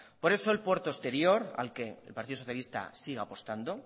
por eso el puerto exterior al que el partido socialista sigue apostando